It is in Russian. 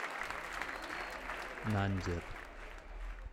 нандер